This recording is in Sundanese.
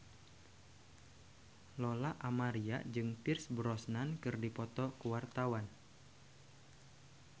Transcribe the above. Lola Amaria jeung Pierce Brosnan keur dipoto ku wartawan